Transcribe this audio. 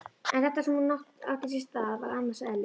En þetta sem nú átti sér stað var annars eðlis.